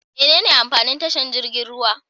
Mene amfanin tashar jirgin ruwa?